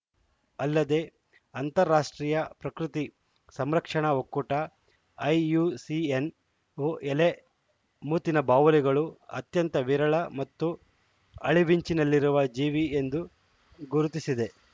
ಅಲ್ಲದೆ ಅಂತಾರಾಷ್ಟ್ರೀಯ ಪ್ರಕೃತಿ ಸಂರಕ್ಷಣಾ ಒಕ್ಕೂಟ ಐಯುಸಿಎನ್‌ವು ಎಲೆ ಮೂತಿನ ಬಾವಲಿಗಳು ಅತ್ಯಂತ ವಿರಳ ಮತ್ತು ಅಳಿವಿನಂಚಿನಲ್ಲಿರುವ ಜೀವಿ ಎಂದು ಗುರುತಿಸಿದೆ